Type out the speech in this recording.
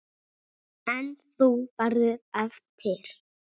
En þú verður eftir.